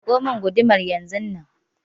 Miƙo mun gudumar yanzunnan!